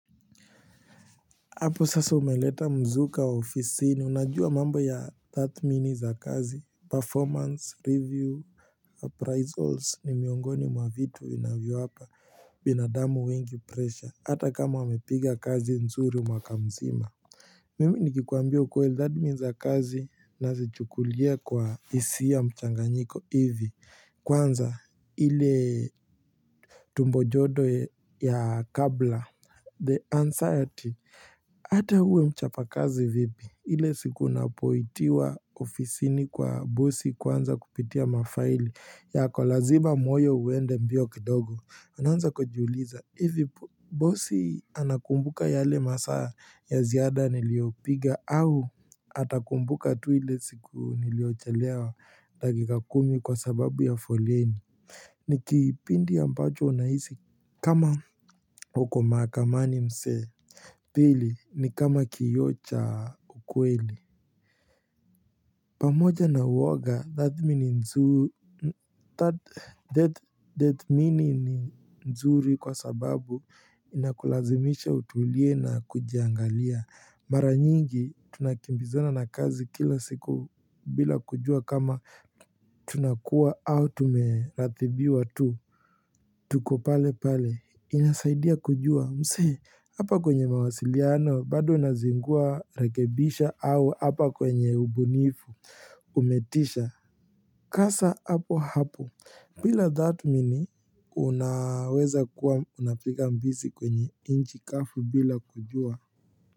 Hapo sasa umeleta mzuka wa ofisini unajua mambo ya tathmini za kazi performance review appraisals ni miongoni mwa vitu vinavyowapa binadamu wengi pressure hata kama wamepiga kazi nzuri mwaka mzima mimi nikikwambia ukweli dhatmin za kazi nazichukulia kwa hisia mchanganyiko hivi kwanza hile tumbo jodo ya kabla The anxiety Ata uwe mchapakazi vipi ile siku unapoitiwa ofisini kwa bosi kwanza kupitia mafaili yako lazima moyo uende mbio kidogo. Unaanza kujiuliza Ivi bosi anakumbuka yale masaa ya ziada niliopiga au atakumbuka tu ile siku niliochelewa dagiga kumi kwa sababu ya foleni ni kipindi ambacho unahisi kama uko maakamani mse. Pili, ni kama kioo cha ukweli pamoja na uoga datmini nzuri kwa sababu inakulazimisha utulie na kujiangalia Mara nyingi tunakimbizana na kazi kila siku bila kujua kama tunakuwa au tumeratibiwa tu tuko pale pale inasaidia kujua mse hapa kwenye mawasiliano bado unazingua rekebisha au hapa kwenye ubunifu umetisha kasa hapo hapo bila dhatmini unaweza kuwa unapiga mbizi kwenye inchi kafu bila kujua.